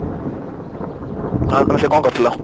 ହଁ କଣ କରୁଥିଲ